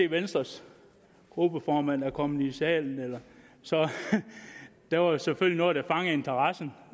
venstres gruppeformand er kommet i salen der var jo selvfølgelig noget der fangede interessen